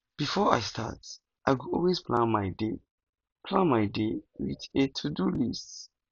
before i start work i go always plan my day plan my day with a todo list